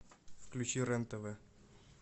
включи рен тв